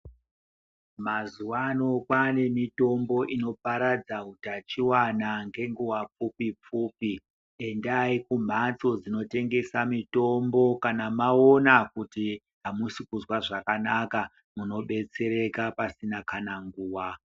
Mazuwa ano kwaane mitombo inoparadza utachiona ngenguwa doko-doko. Endai kumphatso dzinotengesa mutombo kana mwaona kuti amusi kuzwa zvakanaka, munodetsereka pasina nguwa.